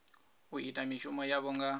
u ita mishumo yavho nga